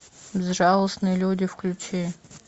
безжалостные люди включи